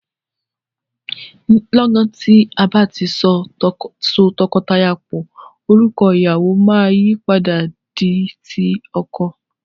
Lọ́gan tí a bá ti so tọkọtìyàwó pò, orúkọ ìyàwọ máa yìí padà di ti ọkọ.